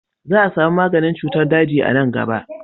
Za a sami maganin cutar daji a nan gaba.